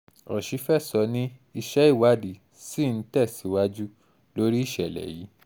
òṣìfẹ̀sọ ni iṣẹ́ ìwádìí ṣì ń um tẹ̀síwájú lórí ìṣẹ̀lẹ̀ yìí